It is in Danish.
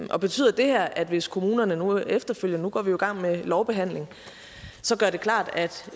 betyder det her at hvis kommunerne nu efterfølgende nu går vi i gang med lovbehandlingen så gør det klart